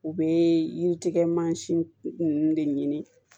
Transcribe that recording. U bɛ yiri tigɛ mansin ninnu de ɲini